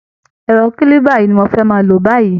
Ẹrọ kílíba yìí ni mo fẹ́ máa lò báyìí